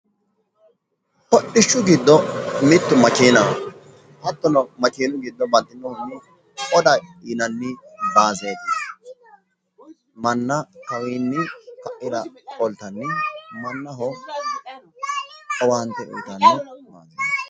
Hodhishshu giddo mittu makeenaho hattono makeenu giddo baxxinohu oda yinanni baaseeti manna kawiinni ka'ira qoltanni mannaho owaante uyiitanno